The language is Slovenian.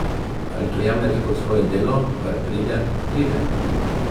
Ali to jemljete kot svoje delo, kar pride, pride?